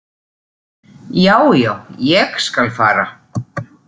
Já, já, ég skal fara.